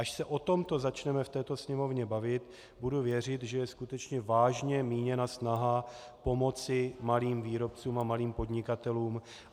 Až se o tomto začneme v této Sněmovně bavit, budu věřit, že je skutečně vážně míněna snaha pomoci malým výrobcům a malým podnikatelům.